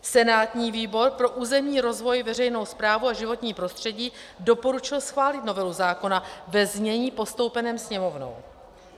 Senátní výbor pro územní rozvoj, veřejnou správu a životní prostředí doporučil schválit novelu zákona ve znění postoupeném Sněmovnou.